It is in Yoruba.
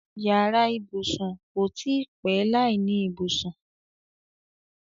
Yàrá ibùsùn kò tí í pé láìní ibùsùn.